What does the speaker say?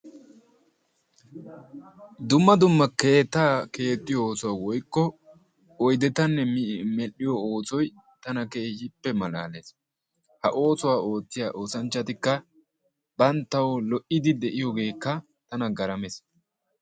dumma dumma keettaa keexiyo woykko oydeta medhiyo oosoy tana keehippe malaalees, ha oosuwa oottiya oosanchchatikka bantawu lo'idi de'iyogeekka tana garamees.